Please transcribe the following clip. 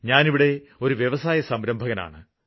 ഞാന് ഇവിടെ ഒരു വ്യവസായസംരംഭകനാണ്